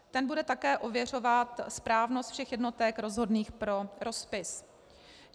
Ten bude také ověřovat správnost všech jednotek rozhodných pro rozpis.